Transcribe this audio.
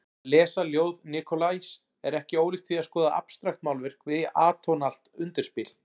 Að lesa ljóð Nikolajs er ekki ólíkt því að skoða abstraktmálverk við atónalt undirspil.